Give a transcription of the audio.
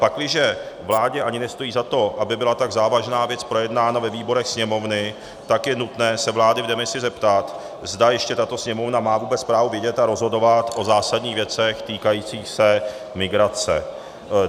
Pakliže vládě ani nestojí za to, aby byla tak závažná věc projednána ve výborech Sněmovny, tak je nutné se vlády v demisi zeptat, zda ještě tato Sněmovna má vůbec právo vidět a rozhodovat o zásadních věcech týkajících se migrace.